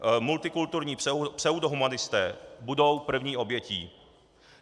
Multikulturní pseudohumanisté budou první obětí.